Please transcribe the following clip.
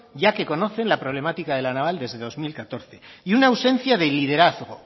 ya que conoce la problemática de la naval desde dos mil catorce y una ausencia de liderazgo